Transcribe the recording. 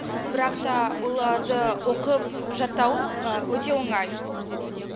бірақта оларды оқып жаттау өте оңай